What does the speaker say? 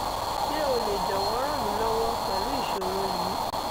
ṣe o le jọwọ ran mi lọwọ pẹlu iṣoro yii